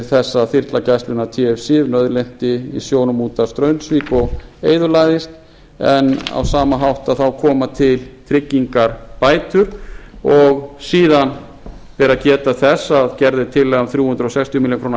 þess að þyrla gæslunnar tf sif nauðlenti í sjónum út af straumsvík og eyðilagðist en á sama hátt koma til tryggingabætur og síðan ber að geta þess að gerð er tillaga um þrjú hundruð sextíu milljónir króna hækkun